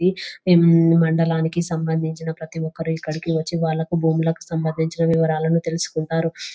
ఉమ్ మండలానికి సంబంధించిన ప్రతి ఒక్కరూ ఇక్కడికి వచ్చి వాళ్లకు భూములకు సంబంధించిన వివరాలను తెలుసుకుంటారు.